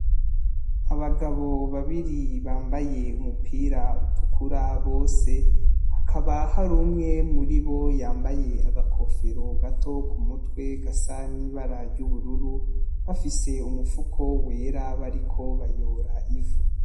Abagabo babiri bambaye umupira utukura ari hagati yabose Hakaba hari umwe yambaye agakofero gato k'umutwe gasa n'ibara ry'ubururu bafise n'umufuko wera bariko bayora ivu.